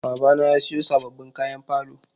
Babana ya siyo sababbin kayan falo.